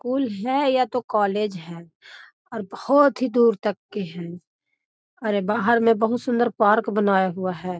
School है या तो कॉलेज है और बहुत ही दूर तक के हैं और ये बाहर में बहुत सुन्दर पार्क बनाया हुआ है।